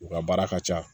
U ka baara ka ca